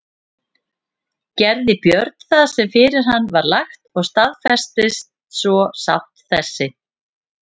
Gerði Björn það sem fyrir hann var lagt og staðfestist svo sátt þessi.